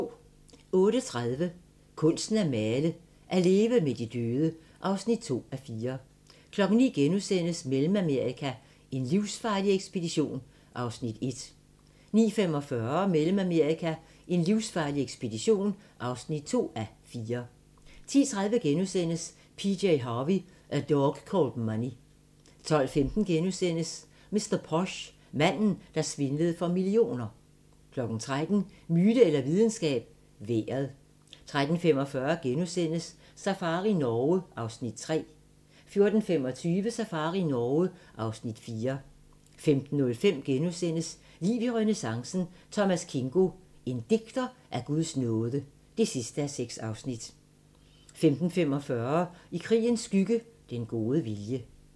08:30: Kunsten at miste: At leve med de døde (2:4) 09:00: Mellemamerika: en livsfarlig ekspedition (1:4)* 09:45: Mellemamerika: en livsfarlig ekspedition (2:4) 10:30: PJ Harvey: A Dog Called Money * 12:15: Mr. Posh: Manden, der svindlede for millioner * 13:00: Myte eller videnskab – vejret 13:45: Safari Norge (Afs. 3)* 14:25: Safari Norge (Afs. 4) 15:05: Liv i renæssancen - Thomas Kingo: En digter af Guds nåde (6:6)* 15:45: I krigens skygge – Den gode vilje